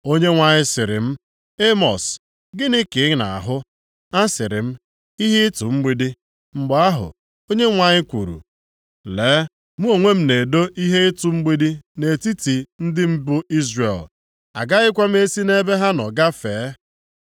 Onyenwe anyị sịrị m, “Emọs, gịnị ka ị na-ahụ?” Asịrị m, “Ihe ịtụ mgbidi.” Mgbe ahụ, Onyenwe anyị kwuru, “Lee, mụ onwe m na-edo ihe ịtụ mgbidi nʼetiti ndị m bụ Izrel, agaghịkwa m esi ebe ha nọ gafee.